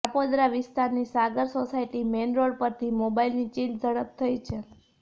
કાપોદ્રા વિસ્તારની Sagar society main road પરથી મોબાઈલની ચીલ ઝડપ થઈ છે